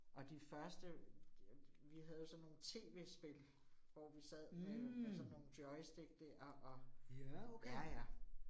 Og de første. Vi havde jo sådan nogle T V spil, hvor vi sad med med sådan nogle joystick dér og ja ja